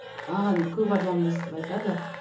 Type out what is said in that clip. маған көп адам өстіп айтады